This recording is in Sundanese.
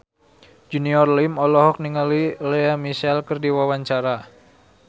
Junior Liem olohok ningali Lea Michele keur diwawancara